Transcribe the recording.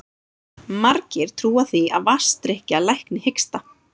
Margir trúa því að vatnsdrykkja lækni hiksta.